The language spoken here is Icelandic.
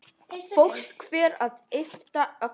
Fólk fer að yppta öxlum.